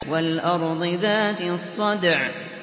وَالْأَرْضِ ذَاتِ الصَّدْعِ